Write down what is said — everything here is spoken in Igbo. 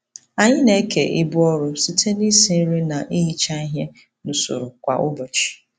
Anyị na-eke ibu ọrụ site n'isi nri na ihicha ihe n'usoro kwa ụbọchị.